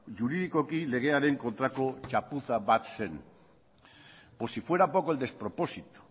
juridikoki legearen kontrako txapuza bat zen por si fuera poco el despropósito